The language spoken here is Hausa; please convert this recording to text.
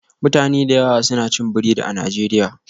Mutane da yawa suna cin biredi a Najeriya